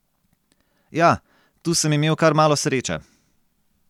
Ja, tu sem imel kar malo sreče.